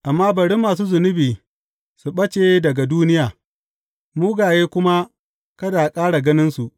Amma bari masu zunubi su ɓace daga duniya mugaye kuma kada a ƙara ganinsu.